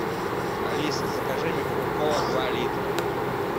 алиса закажи мне кока колу два литра